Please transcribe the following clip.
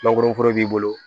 Mangoroforo b'i bolo